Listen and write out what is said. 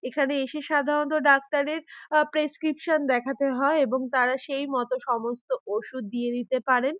এখানে এসে সাধারণত ডাক্তারের আ প্রেসক্রিপশন দেখাতে হয় এবং তারা সেই মতো সমস্ত ওষুধ দিয়ে দিতে পারেন।